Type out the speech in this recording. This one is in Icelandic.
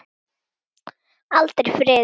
Aldrei friður.